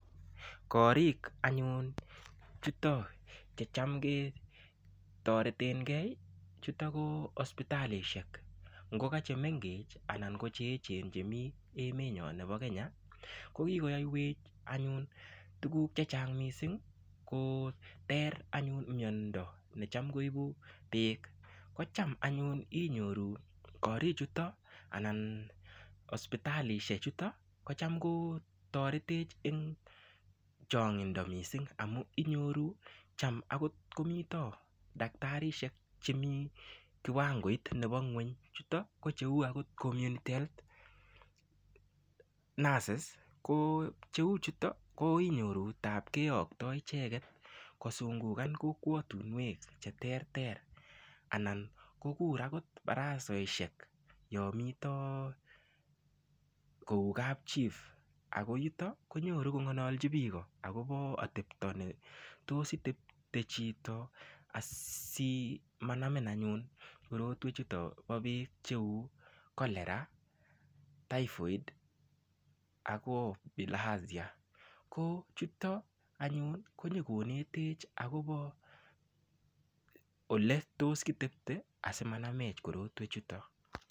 Korik anyun chuto che cham ketoretengei chuto ko hospitalishek ngoka che mengech anan ko cheechen chemi emetnyo nebo Kenya ko kikoyoywech anyun tukuk chechang missing koter anyun miondo nechem koibu beek ko cham anyun inyoru koruichuto anan hospitalishek chuto kocham ko toretech eng chong'indo mising amu inyoru cham akot komi daktarisiek chemi kiwangoit nebo ng'weny chuto ko cheu community health nurses ko cheu chuto ko inyoru taap keyoktoi icheket kosungungan kokwotunwek che ter ter anan kokur akot barasehek yomito kou kapchief ako yuto konyoru kongolochi biiko akobo atepto ne tos itepte chito asimanamin anyun korotwek chuto bo beek cheu cholera typhoid ako bilharzia ko chuto anyun konyokonetech akobo ole tos kitepte asimanamech korotwek chuto.